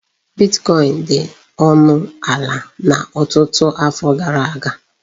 Bitkọin dị ọnụ ala na ọtụtụ afọ gara aga.